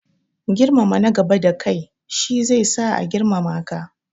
Girmama nagaba da kai shi zai sa a girmama ka.